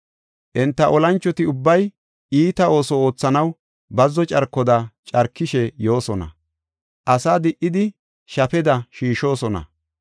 Enta olanchoti ubbay iita ooso oothanaw bazzo carkoda carkishe yoosona. Asa di77idi shafeda shiishosona.